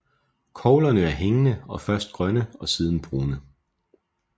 Koglerne er hængende og først grønne og siden brune